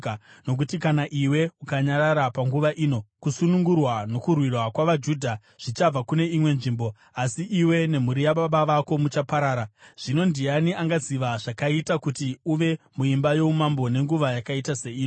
Nokuti kana iwe ukanyarara panguva ino, kusunungurwa nokurwirwa kwavaJudha zvichabva kune imwe nzvimbo, asi iwe nemhuri yababa vako muchaparara. Zvino ndiani angaziva zvakaita kuti uve muimba youmambo nenguva yakaita seino?”